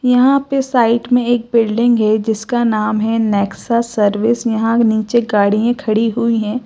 यहां पे साइड मे एक बिल्डिंग है जिसका नाम है नेक्सस सर्विस यहां नीचे गाड़िये खड़ी हुई है।